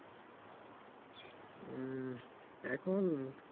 উম এখন